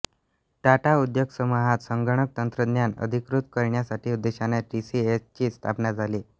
टाटा उद्योगसमूहात संगणक तंत्रद्यान अंगिकृत करण्याच्या उद्देशाने टी सी एस ची स्थापना झाली